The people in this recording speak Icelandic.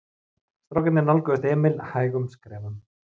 Strákarnir nálguðust Emil hægum skrefum.